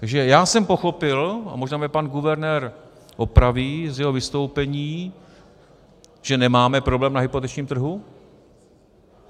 Takže já jsem pochopil - a možná mě pan guvernér opraví - z jeho vystoupení, že nemáme problém na hypotečním trhu.